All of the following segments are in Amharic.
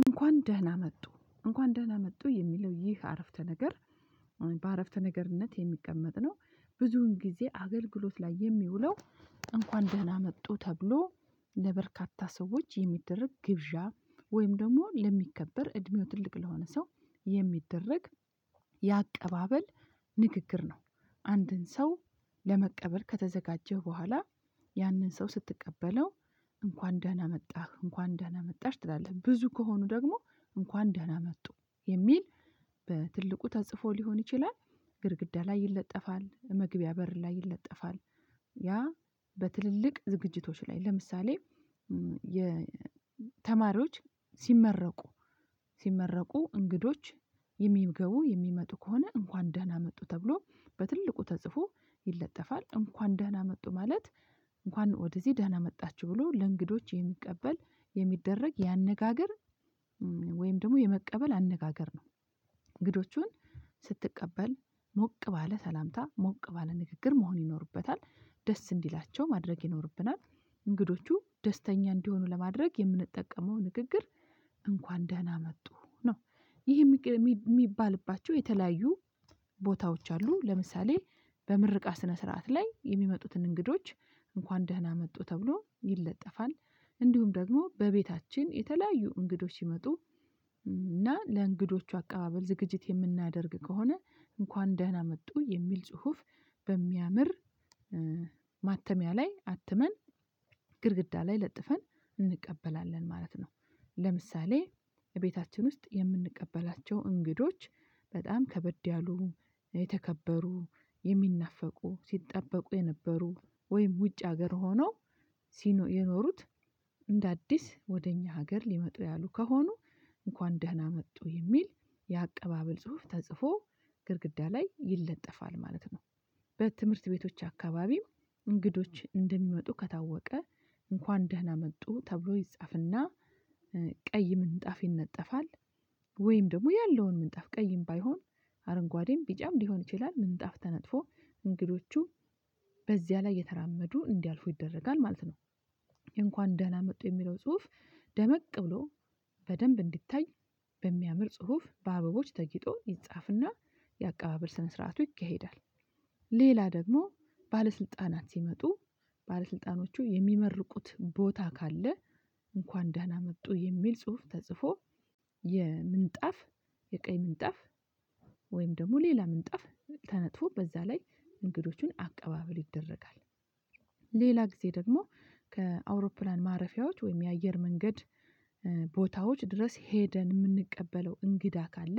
እንኳን ደህና መጡ። እንኳን ደህና መጡ የሚለው ይህ አረፍተ ነገር፤ በአረፍተ ነገርነት የሚቀመጥ ነው፤ ብዙን ጊዜ አገልግሎት ላይ የሚውለው። እንኳን ደህና መጡ ተብሎ ለበርካታ ሰዎች የሚደረግ ግብዣ፤ ወይም ደግሞ ለሚከበር እድሜው ትልቅ ለሆነ ሰው የሚደረግ የአቀባበል ንግግር ነው፤ አንድን ሰው ለመቀበል ከተዘጋጀህ በኋላ ያንን ሰው ስትቀበለው እንኳን ደህና መጣህ፤ እንኳን ደህና መጣህ ትላለህ ብዙ ከሆኑ ደግሞ፤ እንኳን ደህና መጡ የሚል በትልቁ ተጽፎ ሊሆን ይችላል። ግድግዳ ላይ ይለጠፋል፤ መግቢያ በር ላይ ይለጠፋል፤ ያ በትልልቅ ዝግጅቶች ላይ፤ ለምሳሌ የተማሪዎች ስመረቁ፤ ስመረቁ፤ እንግዶች የሚምገቡ የሚመጡ ከሆነ እንኳን ደህና መጡ ተብሎ በትልቁ ተጽፎ ይለጠፋል፤ እንኳን ደህና መጡ ማለት እንኳን ወደዚህ ደህና መጣችው ብሎ ለእንግዶች የሚቀበል የሚደረግ ያነጋገር ወይም ደግሞ የመቀበል አነጋገር ነው፤ እንግዶቹን ስትቀበል ሞቅ ባለ ሰላምታ ሞቅ ባለ ንግግር መሆን ይኖርበታል፤ ደስ እንዲላቸው ማድረግ ይኖርብናል፤ እንግዶቹ ደስተኛ እንዲሆኑ ለማድረግ የምንጠቀመው ንግግር እንኳን ደህና መጡ ነው፤ ይህ የሚባልባቸው የተለያዩ ቦታዎች አሉ። ለምሳሌ በምርቃ ስነ ስርዓት ላይ የሚመጡትን እንግዶች እንኳን ደህና መጡ ተብሎ ይለጠፋል፤ እንዲሁም ደግሞ በቤታችን የተለያዩ እንግዶች ሲመጡ እና ለእንግዶቹ አቀባበል ዝግጅት የምናደርግ ከሆነ፤ እንኳን ደህና መጡ፤ የሚል ጽሁፍ በሚያምር ማተሚያ ላይ አትመን ግድግዳ ላይ ለጥፈን እንቀበላለን ማለት ነው። ለምሳሌ፤ እቤታችን ውስጥ የምንቀበላቸው እንግዶች፤ በጣም ከበድ ያሉ የተከበሩ፤ የሚናፈቁ፤ ሲጠበቁ የነበሩ፤ ወይም ውጭ ሀገር ሆነው የኖሩት እንደ አዲስ ወደ እኛ ሀገር ልመጡ ያሉ ከሆኑ እንኳን ደህና መጡ፤ የሚል የአቀባበል ጽሁፍ ተጽፎ ግድግዳ ላይ ይለጠፋል ማለት ነው። በትምህርት ቤቶች አካባቢ እንግዶች እንደሚመጡ ከታወቀ እንኳን ደህና መጡ፤ ተብሎ ይጻፍና ቀይ ምንጣፍ ይነጠፋል፤ ወይም ደግሞ ያለውን ምንጣፍ ቀይም ባይሆን አረንጓዴም ቢጫም ሊሆን ይችላል ምንጣፍ ተነጥፎ እንግዶቹ በዚያ ላይ የተራመዱ እንዲያልፉ ይደረጋል፤ ማለት ነው። እንኳን ደህና መጡ፤ የሚለው ጽሁፍ ደመቅ ብሎ በደንብ እንዲታይ በሚያምር ጽሁፍ በአበቦች ተጊጦ ይጻፍና፤ የአቀባበል ስነ ስርዓቱ ይከሄዳል። ሌላ ደግሞ፤ ባለስልጣናት ሲመጡ ባለስልጣኖቹ የሚመርቁት ቦታ ካለ፤ እንኳን ደና መጡ የሚል ጽሁፍ ተጽፎ የምንጣፍ የቀይ ምንጣፍ፤ ወይም ደግሞ ሌላ ምንጣፍ፤ ተነጥፎ በዛ ላይ እንግዶቹን አቀባበል ይደረጋል። ጊዜ ደግሞ፤ ከአውሮፕላን ማረፊያዎች ወይም የአየር መንገድ ቦታዎች ድረስ ሄደን የምንቀበለው እንግዳ ካለ፤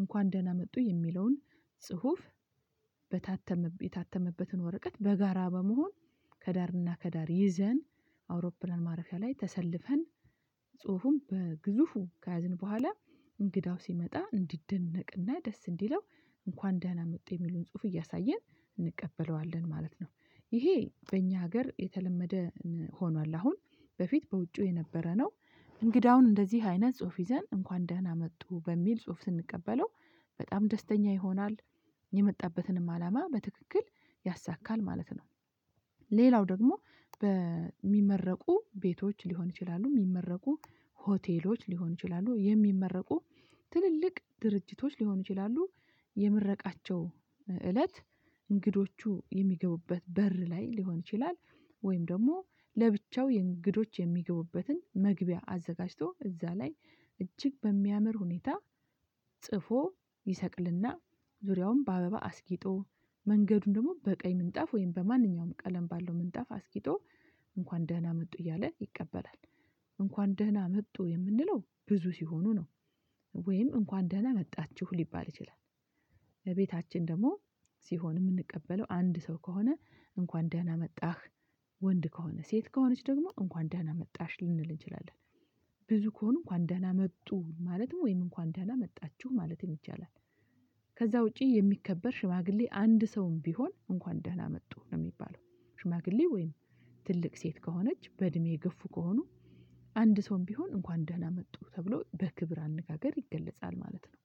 እንኳን ደህና መጡ፤ የሚለውን ጽሁፍ የታተመበትን ወረቀት በጋራ በመሆን፤ ከዳርና ከዳር ይዘን፤ አውሮፕላን ማረፊያ ላይ ተሰልፈን ጽሁፉም በግዙፉ ከያዝን በኋላ፤ እንግዳው ሲመጣ እንዲደነቅና ደስ እንዲለው እንኳን ደህና መጥቶ የሚሉን ጽሁፍ እያሳየን እንቀበለዋለን ማለት ነው፤ ይሄ በእኛ ሀገር የተለመደ ሆኗል አሁን፤ በፊት በውጪው የነበረ ነው፤ እንግዳውን እንደዚህ አይነት ጽሁፍ ይዘን እንኳን ደህና መጡ በሚል ጽሁፍ ስንቀበለው በጣም ደስተኛ ይሆናል፤ የመጣበትንም አላማ በትክክል ያሳካል ማለት ነው። ሌላው ደግሞ፤ በሚመረቁ ቤቶች ሊሆን ይችላሉ፤ ምመረቁ ሆቴሎች ሊሆን ይችላሉ፤ የሚመረቁ ትልልቅ ድርጅቶች ሊሆን ይችላሉ፤ የምረቃቸው እለት እንግዶቹ የሚገቡበት በር ላይ ሊሆን ይችላል፤ ወይም ደግሞ፤ ለብቻው የእንግዶች የሚገቡበትን መግቢያ አዘጋጅቶ፤ እዛ ላይ እጅግ በሚያምር ሁኔታ ጽፎ ይሰቅልና ዙሪያውን በአበባ አስጊጦ መንገዱን ደግሞ በቀኝ ምንጣፍ ወይም በማንኛውም ቀለም ባለው ምንጣፍ አስጊጦ እንኳን ደህና መጡ እያለ ይቀበላል፤ እንኳን ደህና መጡ የምንለው ብዙ ሲሆኑ ነው፤ ወይም እንኳን ደህና መጣችሁ፤ ልባል ይችላል። ለቤታችን ደግሞ ሲሆን የምንቀበለው አንድ ሰው ከሆነ እንኳን ደህና መጣህ፤ ወንድ ከሆነ ሴት ከሆነች ደግሞ እንኳን ደህና መጣሽ፤ ልንል እንችላለን። ብዙ ከሆነ እንኳን ደህና መጡ፤ ማለትም ወይም እንኳን ደህና መጣችሁ፤ ማለትም ይቻላል። ከዛ ውጪ የሚከበር ሽማግሌ አንድ ሰውም ቢሆን እንኳን ደህና መጡ ነው የሚባለው፤ ሽማግሌ ወይም ትልቅ ሴት ከሆነች በእድሜ ገፉ ከሆኑ አንድ ሰውም ቢሆን እንኳን ደህና መጡ ተብሎ በክብር አነጋገር ይገለጻል ማለት ነው።